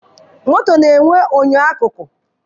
Moto na-enwe enyo akụkụ.